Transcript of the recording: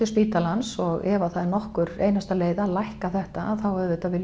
spítalans og ef að það er nokkur leið að lækka þetta þá auðvitað